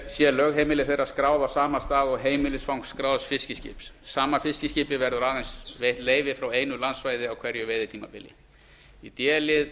sé lögheimili þeirra skráð á sama stað og heimilisfang skráðs fiskiskips sama fiskiskipi verður aðeins veitt leyfi frá einu landsvæði á hverju veiðitímabili d